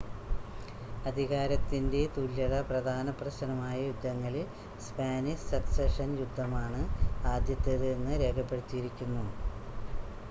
അധികാരത്തിൻ്റെ തുല്യത പ്രധാന പ്രശ്നമായ യുദ്ധങ്ങളിൽ സ്പാനിഷ് സക്സഷൻ യുദ്ധമാണ് ആദ്യത്തേത് എന്ന് രേഖപ്പെടുത്തിയിരിക്കുന്നു